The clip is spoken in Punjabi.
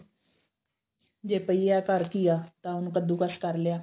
ਜੇ ਪਈ ਆ ਘਰ ਘੀਆ ਤਾਂ ਉਹਨੂੰ ਕੱਦੂ ਕਸ ਕਰ ਲਿਆ